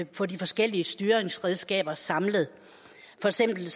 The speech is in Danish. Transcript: på de forskellige styringsredskaber samlet for eksempel